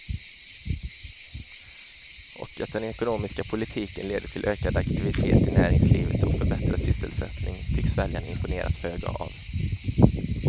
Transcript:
Och att den ekonomiska politiken leder till ökad aktivitet i näringslivet och förbättrad sysselsättning tycks väljarna imponeras föga av.